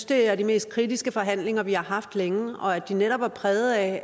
det er de mest kritiske forhandlinger vi har haft længe og at de netop var præget af